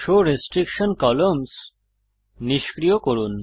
show restriction columns নিষ্ক্রিয় করুন